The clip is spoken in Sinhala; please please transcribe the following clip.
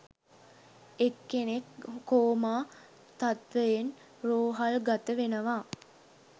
එක්කෙනෙක් කෝමා තත්වයෙන් රෝහල්ගත වෙනවා.